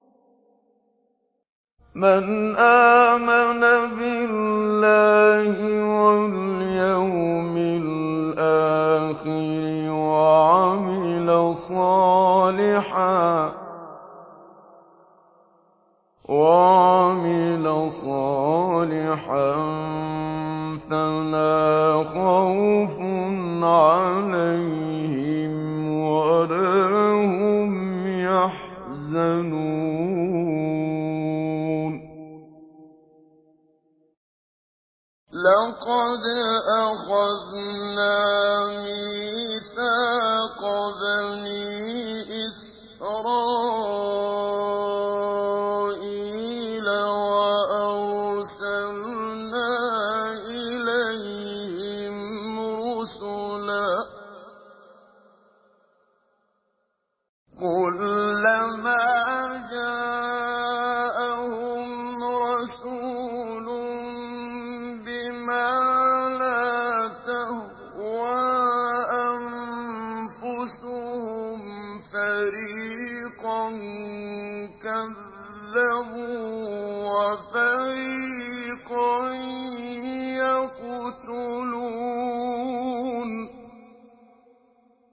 لَقَدْ أَخَذْنَا مِيثَاقَ بَنِي إِسْرَائِيلَ وَأَرْسَلْنَا إِلَيْهِمْ رُسُلًا ۖ كُلَّمَا جَاءَهُمْ رَسُولٌ بِمَا لَا تَهْوَىٰ أَنفُسُهُمْ فَرِيقًا كَذَّبُوا وَفَرِيقًا يَقْتُلُونَ